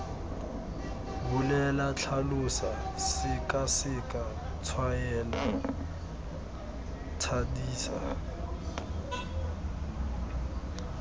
bolela tlhalosa sekaseka tshwaela thadisa